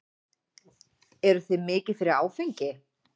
Eruð þið mikið fyrir áfengi?